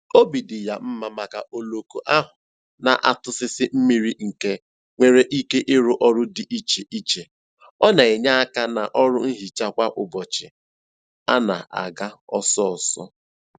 Obi dị ya mma maka oloko ahụ na - atụsịsị mmiri nke nwere ike ịrụ ọrụ dị iche iche, ọ na-enye aka n' ọrụ nhicha kwa ụbọchị a na-aga ọsọọsọ